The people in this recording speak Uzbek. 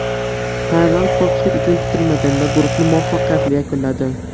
Tailand, ko‘pchilik uchun kutilmaganda, guruhni muvaffaqiyatli yakunladi.